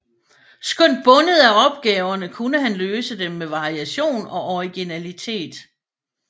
Skønt bundet af opgaverne kunne han løse dem med variation og originalitet